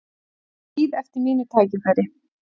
Bíð eftir mínu tækifæri